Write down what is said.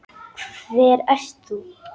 Hver ert þú?